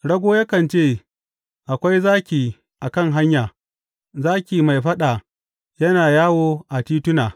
Rago yakan ce, Akwai zaki a kan hanya, zaki mai faɗa yana yawo a tituna!